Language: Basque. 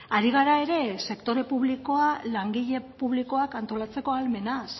ari gara ere sektore publikoa langile publikoak antolatzeko ahalmenaz